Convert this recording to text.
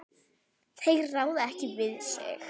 Þeir ráða ekki við sig.